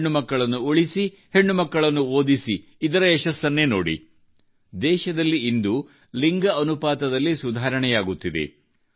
ಹೆಣ್ಣು ಮಕ್ಕಳನ್ನು ಉಳಿಸಿ ಹೆಣ್ಣು ಮಕ್ಕಳನ್ನು ಓದಿಸಿ ಯಶಸ್ಸನ್ನೇ ನೋಡಿ ದೇಶದಲ್ಲಿ ಇಂದು ಲಿಂಗ ಅನುಪಾತದಲ್ಲಿ ಸುಧಾರಣೆಯಾಗುತ್ತಿದೆ